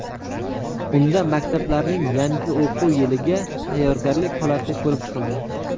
Unda maktablarning yangi o‘quv yiliga tayyorgarlik holati ko‘rib chiqildi.